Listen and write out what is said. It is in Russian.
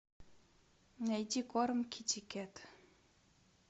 найти корм китикет